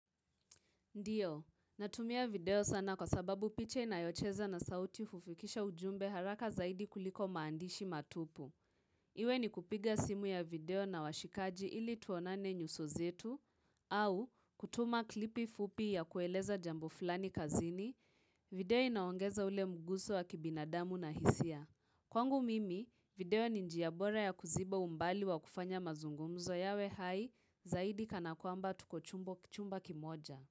Ndio, natumia video sana kwa sababu picha inayocheza na sauti hufikisha ujumbe haraka zaidi kuliko maandishi matupu. Iwe ni kupiga simu ya video na washikaji ili tuonane nyuso zetu, au kutuma klipi fupi ya kueleza jambo fulani kazini, video inaongeza ule mguso wa kibinadamu na hisia. Kwangu mimi, video ni njia bora ya kuziba umbali wa kufanya mazungumzo yawe hai zaidi kana kwamba tuko chumba kimoja.